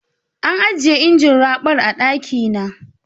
An ajiye injin raɓar a ɗaki na.